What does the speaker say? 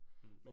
Mh